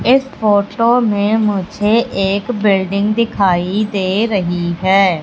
इस फोटो में मुझे एक बिल्डिंग दिखाई दे रही है।